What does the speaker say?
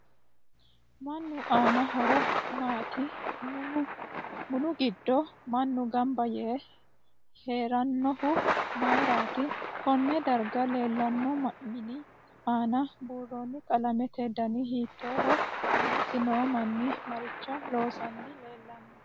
Minu. aani horo maati munu giddo mannu ganba yee heeranohu mayiirati konne darga leelanno mini aana buurooni qalamete dani hiitooho mulesi noo manni maricho loosani leelanno